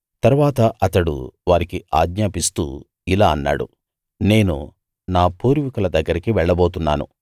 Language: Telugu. తరువాత అతడు వారికి ఆజ్ఞాపిస్తూ ఇలా అన్నాడు నేను నా పూర్వీకుల దగ్గరికి వెళ్ళబోతున్నాను